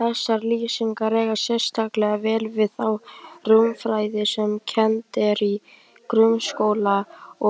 Þessar lýsingar eiga sérstaklega vel við þá rúmfræði sem kennd er í grunnskóla